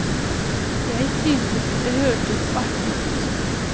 Jeg syntes det hørtes artig ut.